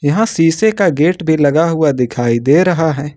यहां शीशे का गेट भी लगा हुआ दिखाई दे रहा है।